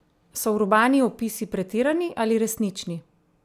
So urbani opisi pretirani ali resnični?